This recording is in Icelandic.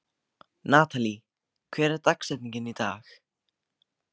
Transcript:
Natalí, hver er dagsetningin í dag?